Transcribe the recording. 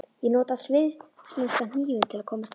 Ég nota svissneska hnífinn til að komast inn.